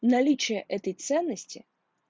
наличие этой ценности